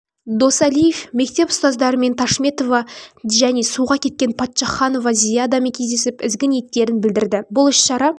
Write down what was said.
досалиев мектеп ұстаздарымен ташметова және суға кеткен паччаханова зиядамен кездесіп ізгі ниеттерін білдірді бұл іс-шара